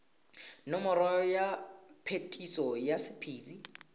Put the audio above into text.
nomoro ya phetiso ya sephiri